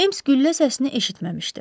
Ems güllə səsini eşitməmişdi.